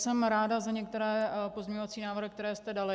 Jsem ráda za některé pozměňovací návrhy, které jste dali.